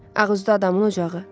Ağ üzlü adamın ocağı.